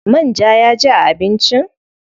Man ja ya ji a abincin?